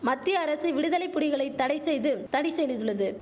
மத்திய அரசு விடுதலை புடிகளை தடைசெய்தும் தடைசெனிதுள்ளது